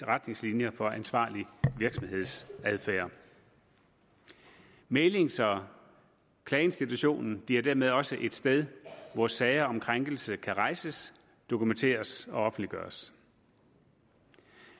retningslinjer for ansvarlig virksomhedsadfærd mæglings og klageinstitutionen bliver dermed også et sted hvor sager om krænkelse kan rejses dokumenteres og offentliggøres